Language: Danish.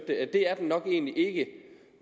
at det er den nok egentlig ikke